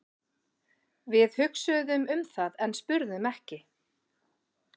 Við hugsuðum um það en spurðum ekki.